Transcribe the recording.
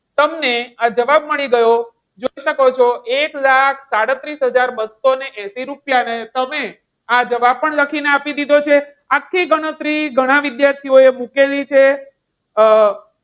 તમને આ જવાબ મળી ગયો. જોઈ શકો છો. એક લાખ સાડત્રીસ હજાર બસો ને એસી રૂપિયા ને તમે આ જવાબ પણ લખીને આપી દીધો છે આખી ગણતરી ગણા વિદ્યાર્થીઓએ મૂકેલી છે. અમ